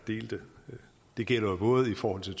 delte og det gælder jo både i forhold til